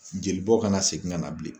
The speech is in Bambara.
Jelibɔn kana segin ka na bilen.